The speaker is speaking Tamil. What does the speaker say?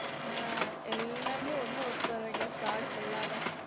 அஹ் எல்லாமே ஒன்னா work போறீங்க fraud சொல்லாம